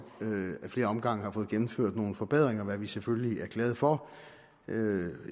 i flere omgange har fået gennemført nogle forbedringer hvad vi selvfølgelig er glade for